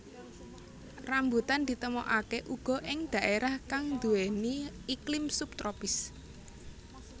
Rambutan ditemokaké uga ing dhaérah kang nduwèni iklim sub tropis